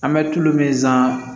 An bɛ tulu min san